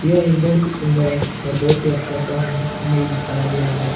यह एक बहुत ही सुंदर और बहुत ही अच्छा सा हमें इमेज दिखाया गया है ।